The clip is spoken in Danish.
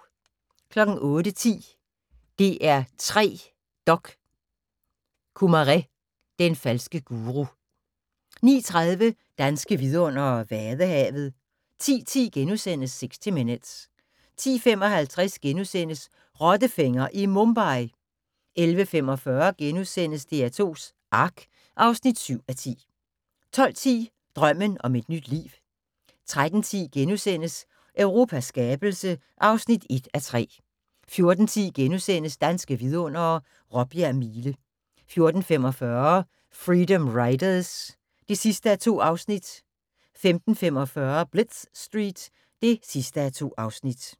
08:10: DR3 Dok: Kumaré – den falske guru 09:30: Danske vidundere: vadehavet 10:10: 60 Minutes * 10:55: Rottefænger i Mumbai! * 11:45: DR2s Ark (7:10)* 12:10: Drømmen om et nyt liv 13:10: Europas skabelse (1:3)* 14:10: Danske vidundere: Råbjerg Mile * 14:45: Freedom Riders (2:2) 15:45: Blitz Street (2:2)